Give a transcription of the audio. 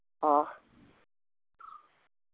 ആഹ്